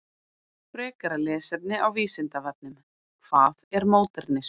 Frekara lesefni á Vísindavefnum: Hvað er módernismi?